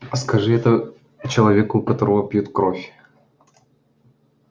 скажи это человеку у которого пьют кровь